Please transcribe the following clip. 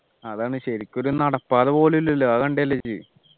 അതാണ് ശരിക്ക് ഒരു നടപ്പാത പോലുമില്ലല്ലോ അതുകൊണ്ടല്ലേ ഇത്